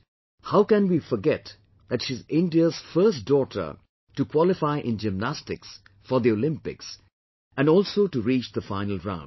But, how can we forget that she is India's first daughter to qualify in Gymnastics for the Olympics and also to reach the final round